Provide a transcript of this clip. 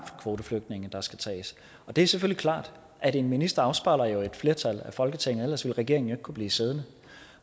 kvoteflygtninge der skal tages det er selvfølgelig klart at en minister afspejler et flertal af folketinget ellers ville regeringen jo kunne blive siddende